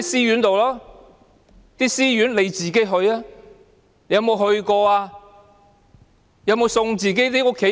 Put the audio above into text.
政府官員自己有沒有去過這些私營安老院？